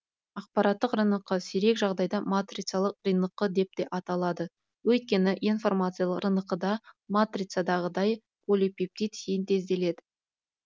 ақпараттық рнқ сирек жағдайда матрицалық рнқ деп те аталады өйткені информациялық рнқ да матрицадағыдай полипептид синтезделеді